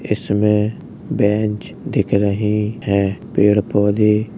इसमें बेंच दिख रही है पेड़ पौधे --